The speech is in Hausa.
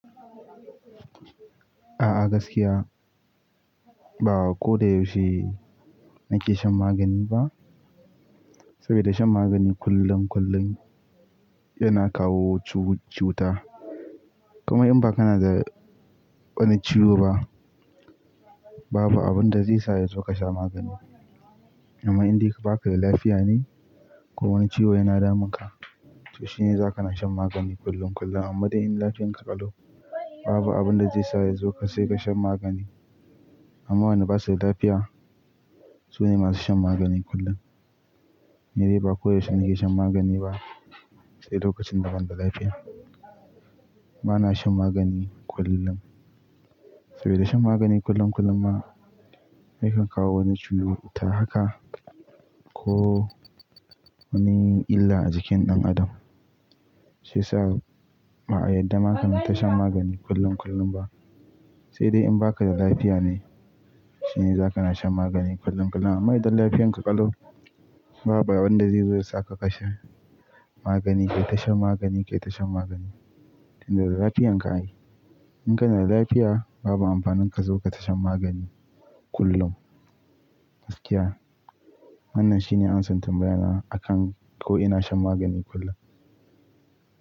A'a gaskiya ba ko da yaushe nake shan magani ba. Saboda shan magani kullum-kullum yana kawo cuta. Kuma in ba kana da wani ciwo ba, babu abin da zai sa ya zo ka sha magani. Amma in dai ka baka da lafiya ne! Ko wani ciwo yana damunka, to shine za ka na shan magani kullum-kullum. Amma dai in lafiyarka ƙalau, babu abin da zai sa ka zo ka shan magani. Amma wanda bashi da lafiya shine zai sha magani kullum. Ni dai ba ko yaushe nake shan magani ba. Sai lokacin da ban da lafiya, bana shan magani kullum. Saboda shan magani kullum-kullum ma yakan kawo wani cuta haka ko wani illa a jikin ɗan adam. Shi ya sa ba'a yadda ma kana shan magani kullum-kullum ba. Sai dai in baka da lafiya ne shine za ka na shan magani kullum-kullum. Amma idan lafiyarka ƙalau, babu abin da zai zo ya sa ka kasha magani kai shan magani kai ta shan magani. Da lafiyan ka ai. In kana da lafiya babu amfanin ka zo kai ta shan magani kullum. Gaskiya wannan shine ansan tambayana akan ko ina shan magani kullum.